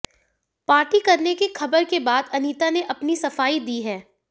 party करने की खबर के बाद अनीता ने अपनी सफाई दी है